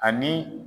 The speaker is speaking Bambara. Ani